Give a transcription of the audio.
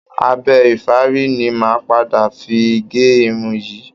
Abẹ ìfárí ni màá padà fi gé irun yìí